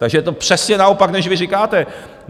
Takže je to přesně naopak, než vy říkáte.